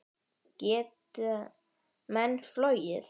Geta menn flogið?